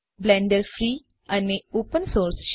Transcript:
Blender free અને open source છે